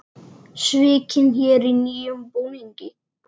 Svikinn héri í nýjum búningi